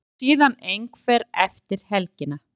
Og síðan einhver eftir helgina.